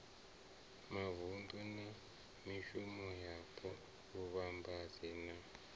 mavunḓu na mivhusoyapo vhuvhambadzi na